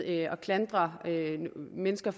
at klandre mennesker